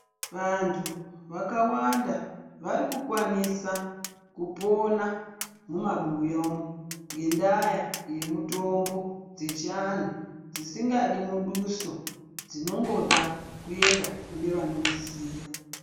Vantu vakawanda varikukwanisa kupona mumabuya umu ngenda yemitombo dzechiantu dzisingadi muduso dzinongoda kuenda kune vanodziziya.